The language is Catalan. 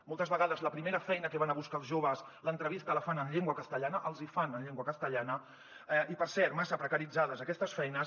moltes vegades la primera feina que van a buscar els joves l’entrevista la fan en llengua castellana els hi fan en llengua castellana i per cert massa precaritzades aquestes feines